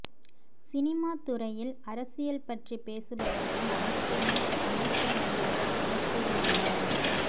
சினிமாத்துறையில் அரசியல் பற்றி பேசுபவர்கள் அனைத்தையும் சந்திக்க வேண்டிவரும் என கூறியுள்ளார்